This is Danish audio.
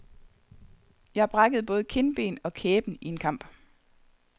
Jeg brækkede både kindben og kæben i en kamp.